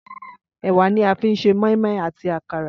Ẹ̀wà ni a fi ń ṣe mọ́ínmọ́ín àti àkàrà